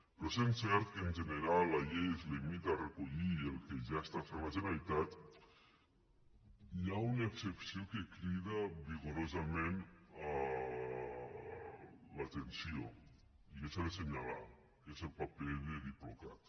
però sent cert que en general la llei es limita a recollir el que ja està fent la generalitat hi ha una excepció que crida vigorosament l’atenció i que s’ha de senyalar que és el paper de diplocat